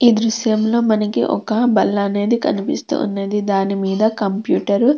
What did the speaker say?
ఈ దృశ్యంలో మనకి ఒక బల్ల అనేది కనిపిస్తూ ఉన్నది. దానిమీద కంప్యూటర్ --